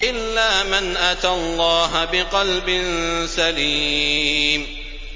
إِلَّا مَنْ أَتَى اللَّهَ بِقَلْبٍ سَلِيمٍ